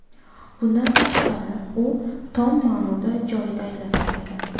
Bundan tashqari, u tom ma’noda joyida aylana oladi.